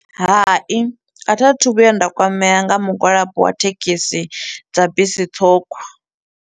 Hai, a thi a thu vhuya nda kwamea nga mugwalabo wa thekhisi dza bisi ṱhukhu.